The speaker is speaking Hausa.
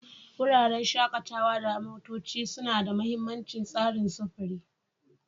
Wuraren shakatawa na motoci suna da mahimmancin tsarin sufuri.